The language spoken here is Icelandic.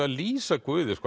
að lýsa Guði